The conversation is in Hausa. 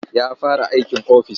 Ya fara aikin ofis.